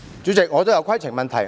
主席，我想提出規程問題。